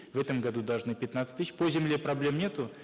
в этом году должны пятнадцать тысяч по земле проблем нету